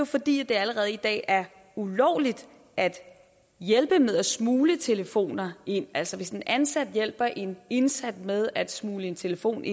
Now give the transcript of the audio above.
fordi det allerede i dag er ulovligt at hjælpe med at smugle telefoner ind altså hvis en ansat hjælper en indsat med at smugle en telefon